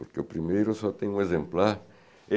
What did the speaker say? Porque o primeiro eu só tenho um exemplar.